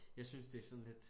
Jeg synes det sådan lidt